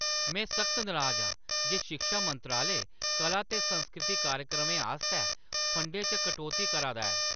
में सख्त नराज आं जे शिक्षा मंत्रालय कला ते संस्कृति कार्यक्रमें आस्तै फंडें च कटौती करा दा ऐ।